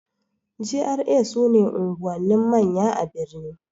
GRA' su ne unguwannin manya a birni